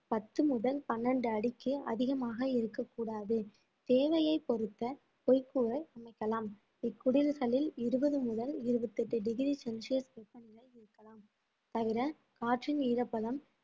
பத்து முதல் பன்னெண்டு அடிக்கு அதிகமாக இருக்கக் கூடாது தேவையைப் பொறுத்த வைக்கோலை அமைக்கலாம் இக்குடில்களில் இருபது முதல் இருபத்தெட்டு டிகிரி செல்சியஸ் வெப்பநிலை இருக்கலாம் தவிர காற்றின் ஈரப்பதம்